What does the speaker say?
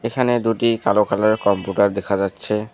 এখানে দুটি কালো কালারের কম্পিউটার দেখা যাচ্ছে।